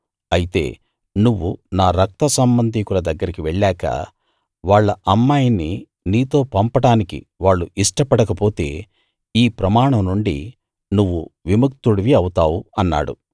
అయితే నువ్వు నా రక్త సంబధికుల దగ్గరికి వెళ్ళాక వాళ్ళ అమ్మాయిని నీతో పంపడానికి వాళ్ళు ఇష్టపడక పోతే ఈ ప్రమాణం నుండి నువ్వు విముక్తుడివి అవుతావు అన్నాడు